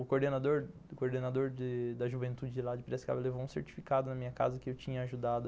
O coordenador o coordenador de da juventude lá de Piracicaba levou um certificado na minha casa que eu tinha ajudado